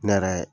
Ne yɛrɛ